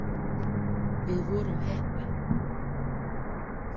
Við vorum heppin.